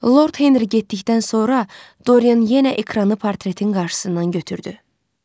Lord Henri getdikdən sonra Dorian yenə ekranı portretin qarşısından götürdü.